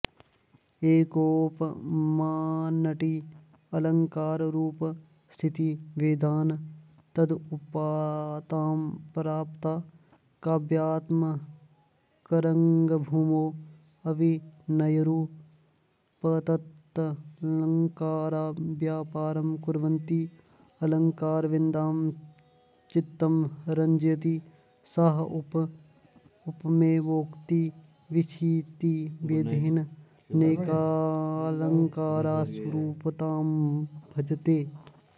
एकोपमानटी अलङ्काररूपस्थितिभेदान् तद्रूपतां प्राप्ता काव्यात्मकरङ्गभूमौ अभिनयरूपतत्तदलङ्कारव्यापारं कुर्वन्ती अलङ्कारविदां चित्तं रञ्जयति सा उपमैवोक्तिविच्छित्तिभेदेनानेकालङ्कारस्वरूपतां भजते